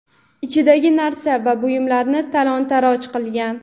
ichidagi narsa va buyumlarni talon-toroj qilgan.